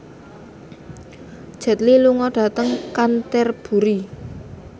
Jet Li lunga dhateng Canterbury